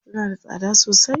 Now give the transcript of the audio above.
Suna da tsada sosai?